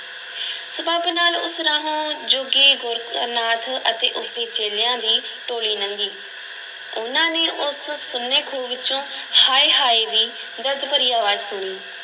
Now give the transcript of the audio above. ਸਬੱਬ ਨਾਲ ਉਸ ਰਾਹੋਂ ਜੋਗੀ ਗੋਰਖ ਨਾਥ ਅਤੇ ਉਸ ਦੇ ਚੇਲਿਆਂ ਦੀ ਟੋਲੀ ਲੰਘੀ, ਉਹਨਾਂ ਨੇ ਉਸ ਸੁੰਨੇ ਖੂਹ ਵਿੱਚੋਂ ਹਾਏ-ਹਾਏ ਦੀ ਦਰਦ ਭਰੀ ਅਵਾਜ਼ ਸੁਣੀ।